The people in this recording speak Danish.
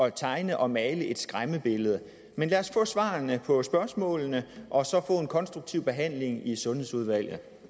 at tegne og male et skræmmebillede lad os få svarene på spørgsmålene og så få en konstruktiv behandling i sundhedsudvalget